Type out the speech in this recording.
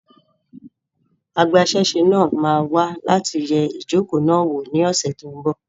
Agbasẹ́sé náà máa wá láti yẹ ijoko náà wò ní ọ́sẹ́ tón bò